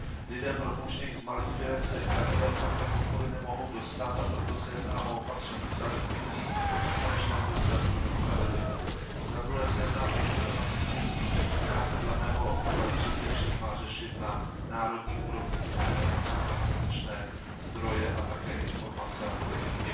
Lidé propouštění z malých firem se k takové formě podpory nemohou dostat, a proto se jedná o opatření selektivní a v konečném důsledku nespravedlivé. Zadruhé se jedná o problematiku, která se dle mého přesvědčení má řešit na národní úrovni, protože tam jsou dostatečné zdroje a také informace a politiky.